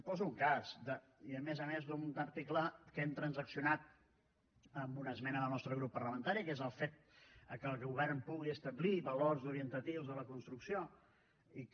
poso un cas i a més a més d’un article que hem transaccionat amb una esmena del nostre grup parlamentari que és el fet que el govern pugui establir valors orientatius a la construcció i que